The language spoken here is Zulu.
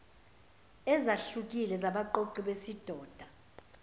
ezahlukile zabaqoqi besidoda